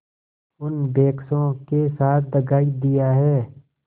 उन बेकसों के साथ दगा दिया है